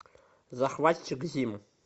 захватчик зим